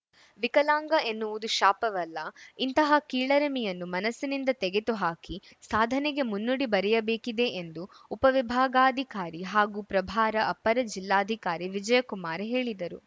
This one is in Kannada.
ವಿಕಲಾಂಗ ಎನ್ನುವುದು ಶಾಪವಲ್ಲ ಇಂತಹ ಕೀಳರಿಮೆಯನ್ನು ಮನಸ್ಸಿನಿಂದ ತೆಗೆದುಹಾಕಿ ಸಾಧನೆಗೆ ಮುನ್ನುಡಿ ಬರೆಯಬೇಕಿದೆ ಎಂದು ಉಪವಿಭಾಗಾಧಿಕಾರಿ ಹಾಗೂ ಪ್ರಭಾರ ಅಪರ ಜಿಲ್ಲಾಧಿಕಾರಿ ವಿಜಯಕುಮಾರ್‌ ಹೇಳಿದರು